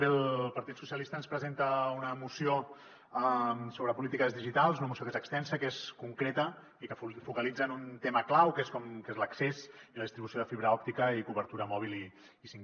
bé el partit socialistes ens presenta una moció sobre polítiques digitals una moció que és extensa que és concreta i que focalitza en un tema clau que és l’accés i la distribució de fibra òptica i cobertura mòbil 5g